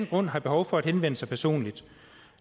grund har behov for at henvende sig personligt